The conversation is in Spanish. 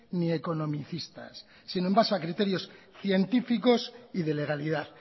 ni economicistas sino en base a criterios científicos y de legalidad